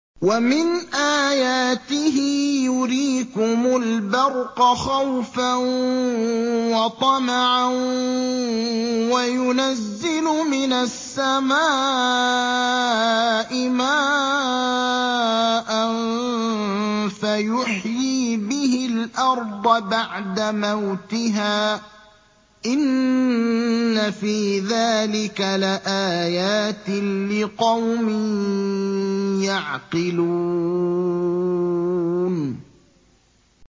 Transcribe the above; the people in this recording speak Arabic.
وَمِنْ آيَاتِهِ يُرِيكُمُ الْبَرْقَ خَوْفًا وَطَمَعًا وَيُنَزِّلُ مِنَ السَّمَاءِ مَاءً فَيُحْيِي بِهِ الْأَرْضَ بَعْدَ مَوْتِهَا ۚ إِنَّ فِي ذَٰلِكَ لَآيَاتٍ لِّقَوْمٍ يَعْقِلُونَ